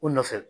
U nɔfɛ